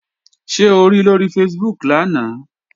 Ṣé o ri lóri Facebook lánàá?